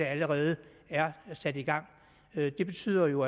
allerede er sat i gang det betyder jo